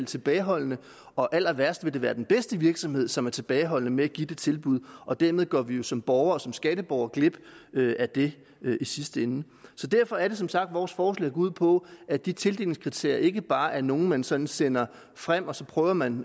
tilbageholdende og allerværst vil det være den bedste virksomhed som er tilbageholdende med at give det tilbud og dermed går vi jo som borgere som skatteborgere glip af det i sidste ende så derfor er det som sagt at vores forslag går ud på at de tildelingskriterier ikke bare er nogen man sådan sender frem og så prøver man